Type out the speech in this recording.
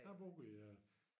Jeg har boet i øh